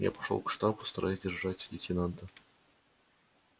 я пошёл к штабу стараясь держать лейтенанта на танке в поле зрения